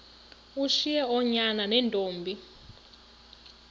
ushiye oonyana neentombi